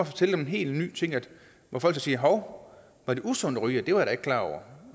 fortælle dem en helt ny ting hvor folk så siger hov var det usundt at ryge det var jeg klar over